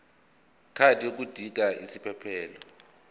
card yodinga isiphephelok